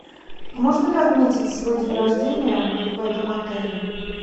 можно ли отметить свой день рождения в этом отеле